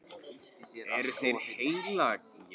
Eru þeir heilagir?